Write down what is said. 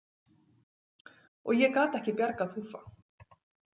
Og ég gat ekki bjargað Fúffa.